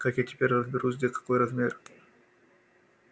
как я теперь разберусь где какой размер